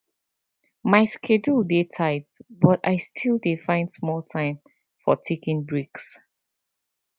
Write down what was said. my schedule dey tight but i still dey find small time for taking breaks